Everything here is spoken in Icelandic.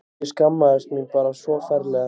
Ég skammaðist mín bara svo ferlega.